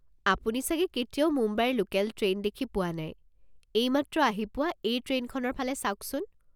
আপুনি চাগে কেতিয়াও মুম্বাইৰ লোকেল ট্ৰেইন দেখি পোৱা নাই, এইমাত্ৰ আহি পোৱা এই ট্ৰেইনখনৰ ফালে চাওকচোন।